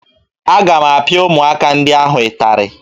Aga m apịa ụmụaka ndị ahụ ịtarị